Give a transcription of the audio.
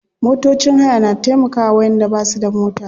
Motocin haya na taimkawa wayanda basu da mota.